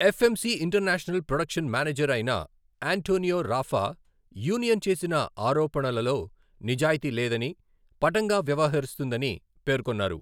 FMC international production manager అయిన Antonio Rafa union చేసిన ఆరోపణలలో నిజాయితీ లేదని, పటంగా వ్యవహరిస్తుందని పేర్కొన్నారు.